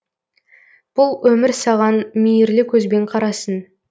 бұл өмір саған мейірлі көзбен қарасын